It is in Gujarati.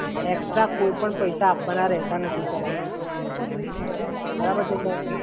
સર એમાં એકસ્ટ્રા કોઈપણ પ્રકારના પૈસા આપવાના રહેતા નથી. બરાબર છે, સર?